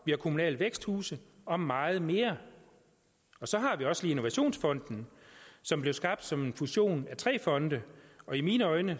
vi har kommunale væksthuse og meget mere og så har vi også lige innovationsfonden som blev skabt som en fusion af tre fonde og i mine øjne